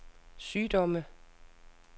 sygdomme